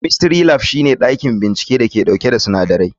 Chemistry Lab shine dakin binciken da ke dauke da sinadarai.